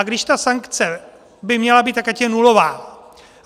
A když ta sankce by měla být, tak ať je nulová.